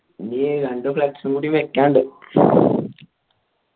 ഇനി രണ്ട് flux കൂടി വെക്കാൻ ഉണ്ട്